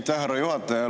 Aitäh, härra juhataja!